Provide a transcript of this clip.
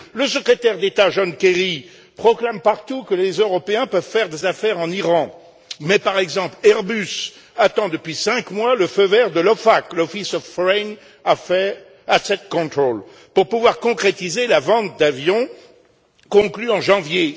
Le secrétaire d'État, John Kerry, proclame partout que les Européens peuvent faire des affaires en Iran mais Airbus, par exemple, attend depuis cinq mois le feu vert de l'OFAC, l'Office of Foreign Assets Control, pour pouvoir concrétiser la vente d'avions conclue en janvier.